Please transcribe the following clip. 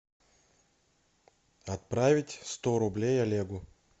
отправить сто рублей олегу